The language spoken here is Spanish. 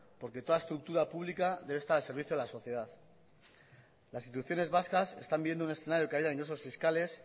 porque toda estructura pública debe estar al servicio de la sociedad las instituciones vascas están viendo un escenario de caída fiscales